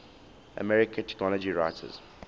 american technology writers